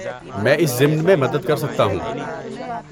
میں اس ضمن میں مدد کر سکتا ہوں۔